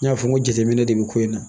N y'a fɔ n ko jateminɛ de bi ko in na